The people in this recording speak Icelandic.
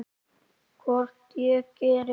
Hvort ég geri!